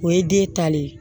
O ye den ta le ye